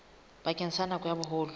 bakeng sa nako ya boholo